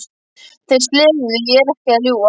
Þeir slefuðu, ég er ekki að ljúga!